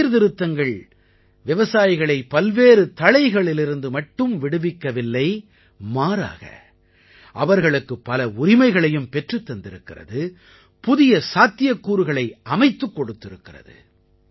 இந்தச் சீர்திருத்தங்கள் விவசாயிகளை பல்வேறு தளைகளிலிருந்து மட்டும் விடுவிக்கவில்லை மாறாக அவர்களுக்குப் பல உரிமைகளையும் பெற்றுத் தந்திருக்கிறது புதிய சாத்தியக்கூறுகளை அமைத்துக் கொடுத்திருக்கிறது